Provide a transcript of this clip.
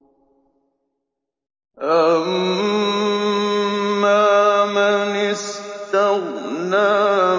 أَمَّا مَنِ اسْتَغْنَىٰ